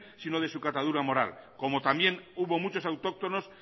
sino de su catadura moral como también hubo muchos autóctonos